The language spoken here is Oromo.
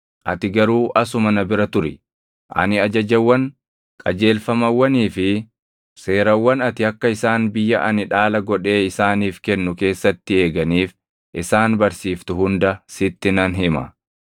Ati garuu asuma na bira turi. Ani ajajawwan, qajeelfamawwanii fi seerawwan ati akka isaan biyya ani dhaala godhee isaaniif kennu keessatti eeganiif isaan barsiiftu hunda sitti nan hima.”